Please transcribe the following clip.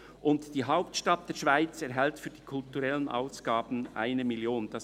Und die Hauptstadt der Schweiz erhält für die kulturellen Ausgaben 1 Mio. Franken.